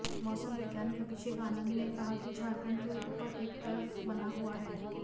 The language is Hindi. माैसम वैज्ञानिक अभिषेक अानंद ने कहा कि झारखंड के ऊपर एक टर्फ बना हुअा है